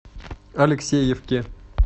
алексеевке